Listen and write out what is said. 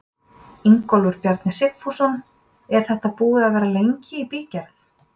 Ingólfur Bjarni Sigfússon: Er þetta búið að vera lengi í bígerð?